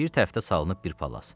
Bir tərəfdə salınıb bir palas.